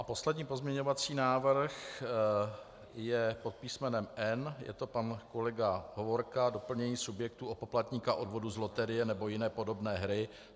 A poslední pozměňovací návrh je pod písmenem N, je to pan kolega Hovorka, doplnění subjektů o poplatníka odvodu z loterie nebo jiné podobné hry.